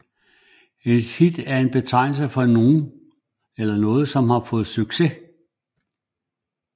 Et hit er en betegnelse for at noget har fået succes